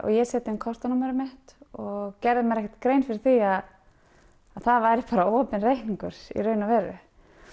ég set inn kortanúmerið mitt og gerði mér ekki grein fyrir því að það væri bara opinn reikningur í raun og veru